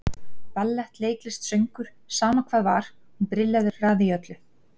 Ballett, leiklist, söngur, sama hvað var, hún brilleraði í öllu.